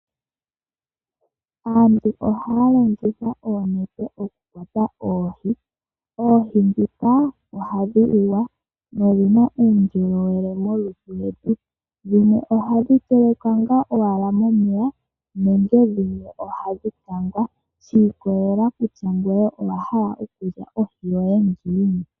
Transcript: Aantu oha yalongitha oonete oku kwata oohi, oohi ndhika ohadhi liwa nodhina uundjolowele molutu lwetu, dhimwe ohadhi telekwa nga owala momeya nenge dhimwe oha dhi kangwa, shi ikolekela kutya ngoye owahala okulya ohi yoye ngiini.